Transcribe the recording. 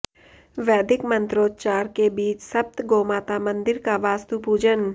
वैदिक मंत्रोच्चार के बीच सप्त गोमाता मंदिर का वास्तु पूजन